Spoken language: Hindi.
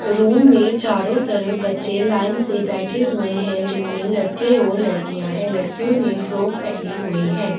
रूम में चारों तरफ बच्चे लाइन से बैठे हुए है जिनमें लड़के और लड़कियां है लड़कियों ने फ्रॉक पहनी हुई है।